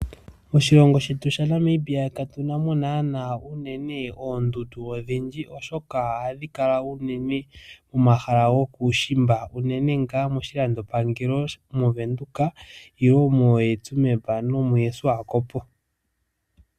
Moshilongo shetu shaNamibia katuna mo naana oondundu odhindji, oshoka ohadhi kala unene momahala gokuushimba, unene nga moshilandopangelo movenduka, nenge moshoomeya.